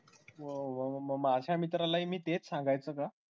वा वा वा मग माझ्या मित्राला हि मी तेच सांगायचं का?